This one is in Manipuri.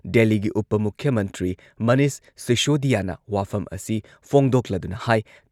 ꯗꯦꯜꯂꯤꯒꯤ ꯎꯄ ꯃꯨꯈ꯭ꯌ ꯃꯟꯇ꯭ꯔꯤ ꯃꯅꯤꯁ ꯁꯤꯁꯣꯗꯤꯌꯥꯅ ꯋꯥꯐꯝ ꯑꯁꯤ ꯐꯣꯡꯗꯣꯛꯂꯗꯨꯅ ꯍꯥꯢ